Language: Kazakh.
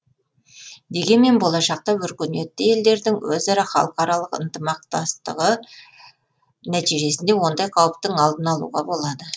дегенмен болашақта өркениетті елдердің өзара халықаралық ынтымақтастығы нәтижесінде ондай қауіптің алдын алуға болады